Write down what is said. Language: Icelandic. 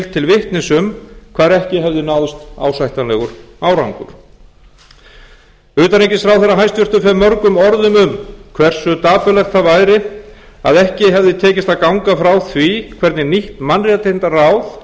til vitnis um hvar ekki hefði náðst ásættanlegur árangur hæstvirts utanríkisráðherra fer mörgum orðum um hversu dapurlegt það væri að ekki hefði tekist að ganga frá því hvernig nýtt mannréttindaráð